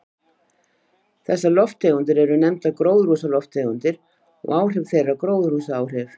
Þessar lofttegundir eru nefndar gróðurhúsalofttegundir og áhrif þeirra gróðurhúsaáhrif.